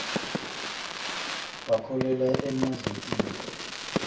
bakholelwa emadlotini